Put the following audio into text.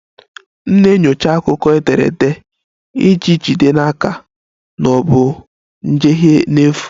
M na-enyocha akụkọ ederede iji jide n'aka na ọ bụ njehie n'efu